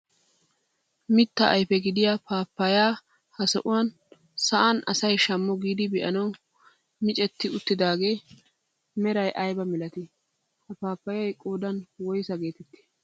Mittaa ayfe gidiyaa paappayaa ha sohuwaan sa'aan asay shaammo giidi be'anawu micetti uttidaga meray aybaa milatii? ha paappayay qoodan woyssaa getettii?